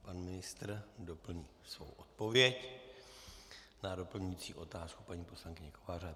Pan ministr doplní svou odpověď na doplňující otázku paní poslankyně Kovářové.